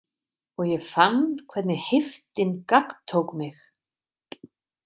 Og ég fann hvernig heiftin gagntók mig.